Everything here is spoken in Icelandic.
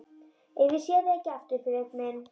Ef ég sé þig ekki aftur, Friðrik minn.